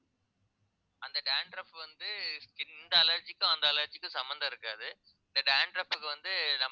அந்த dandruff வந்து allergy க்கும் அந்த allergy க்கும் சம்பந்தம் இருக்காது dandruff க்கு வந்து